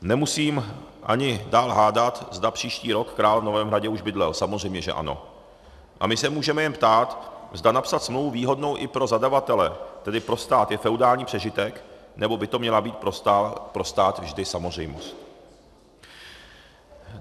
Nemusím ani dál hádat, zda příští rok král v novém hradě už bydlel, samozřejmě že ano, a my se můžeme jen ptát, zda napsat smlouvu výhodnou i pro zadavatele, tedy pro stát, je feudální přežitek, nebo by to měla být pro stát vždy samozřejmost.